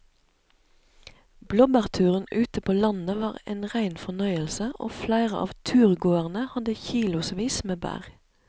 Blåbærturen ute på landet var en rein fornøyelse og flere av turgåerene hadde kilosvis med bær.